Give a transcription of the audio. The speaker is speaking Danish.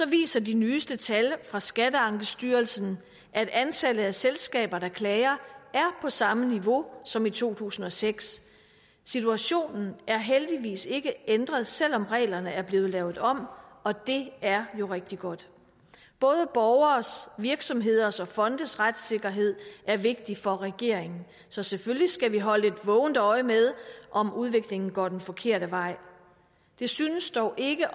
viser de nyeste tal fra skatteankestyrelsen at antallet af selskaber der klager er på samme niveau som i to tusind og seks situationen er heldigvis ikke ændret selv om reglerne er blevet lavet om og det er jo rigtig godt både borgeres virksomheders og fondes retssikkerhed er vigtigt for regeringen så selvfølgelig skal vi holde et vågent øje med om udviklingen går den forkerte vej det synes dog ikke